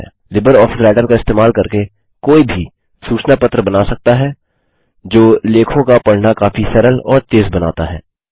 Libre office writer का इस्तेमाल करके कोई भी सूचना पत्र बना सकता है जो लेखों का पढना काफी सरल और तेज़ बनाता है